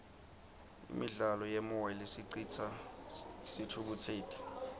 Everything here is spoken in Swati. imidlalo yemoya lesicitsa sithukutseti